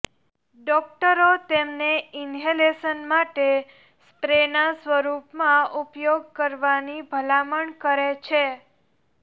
ડોકટરો તેમને ઇન્હેલેશન માટે સ્પ્રેના સ્વરૂપમાં ઉપયોગ કરવાની ભલામણ કરે છે